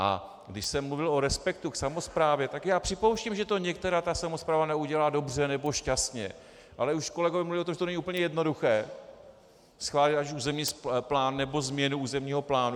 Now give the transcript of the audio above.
A když jsem mluvil o respektu k samosprávě, tak já připouštím, že to některá ta samospráva neudělá dobře nebo šťastně, ale už kolegové mluvili o tom, že to není úplně jednoduché schválit ať územní plán nebo změnu územního plánu.